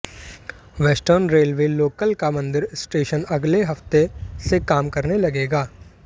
western railway local का Mandir station अगले हफ्ते से काम करने लगेगा